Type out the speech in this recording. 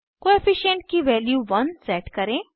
coefficient की value 1 set करें